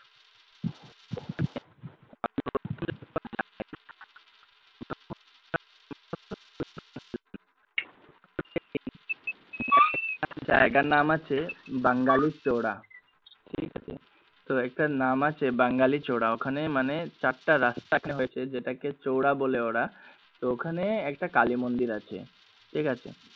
বাঙালি চড়া তো একটা নাম আছে বাঙালি চড়া ওখানে মানে চারটা রাস্তা এখানে হয়েছে যেটাকে চৌরা বলে ওরা তো ওখানে একটা কালী মন্দির আছে ঠিক আছে